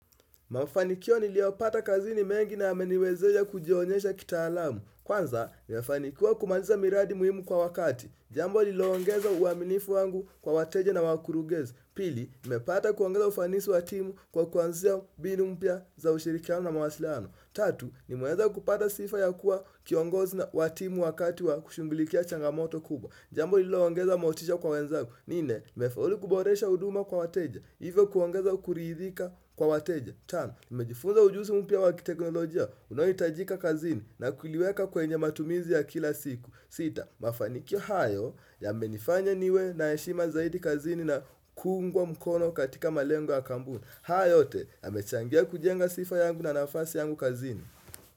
Mafanikio niliyopata kazini mengi na yameniwezesha kujionyesha kitaalamu. Kwanza, nimefanikiwa kumaliza miradi muhimu kwa wakati. Jambo liloongeza uaminifu wangu kwa wateja na wakurugenzi. Pili, nimepata kuongeza ufanisi watimu kwa kuanzisha mbinu mpya za ushirikiano na mawasiliano. Tatu, ni meweza kupata sifa ya kuwa kiongozi watimu wakati wa kushughuilikia changamoto kubwa. Jambo ilo huongeza motisha kwa wenzangu. Nne, nimefaulu kuboresha huduma kwa wateja. Hivyo kuongeza kuridhika kwa wateja. Tano, nimejifunza ujuzi mpya wakiteknolojia. Unaohitajika kazini na kuniweka kwenye matumizi ya kila siku. Sita, mafanikio hayo ya menifanya niwe na heshima zaidi kazini na kuungwa mkono katika malengo ya kampuni. Haya yote, yamechangia kujenga sifa yangu na nafasi yangu kazini.